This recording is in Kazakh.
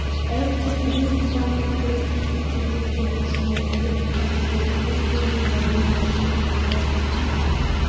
әуп деп білек сыбанып кірісіп кетсе тізгін ұшынан іліп әкетер туыс-туған жора-жолдас жеткілікті